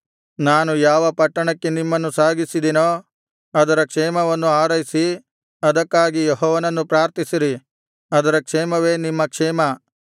ನಾನು ಯಾವ ಪಟ್ಟಣಕ್ಕೆ ನಿಮ್ಮನ್ನು ಸಾಗಿಸಿದೆನೋ ಅದರ ಕ್ಷೇಮವನ್ನು ಹಾರೈಸಿ ಅದಕ್ಕಾಗಿ ಯೆಹೋವನನ್ನು ಪ್ರಾರ್ಥಿಸಿರಿ ಅದರ ಕ್ಷೇಮವೇ ನಿಮ್ಮ ಕ್ಷೇಮ